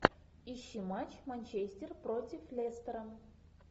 ищи матч манчестер против лестера